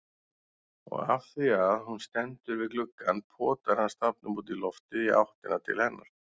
Og afþvíað hún stendur við gluggann potar hann stafnum útí loftið í áttina til hennar.